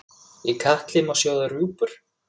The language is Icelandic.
Í katli má sjóða rjúpur?